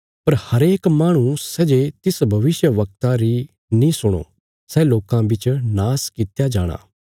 पर हरेक माहणु सै जे तिस भविष्यवक्ता री नीं सुणो सै लोकां बिच नाश कित्या जाणा